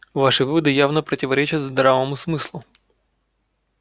ваши выводы явно противоречат здравому смыслу